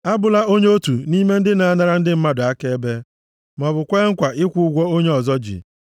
Abụla onye otu nʼime ndị na-anara ndị mmadụ akaebe maọbụ kwee nkwa ikwu ụgwọ onye ọzọ ji.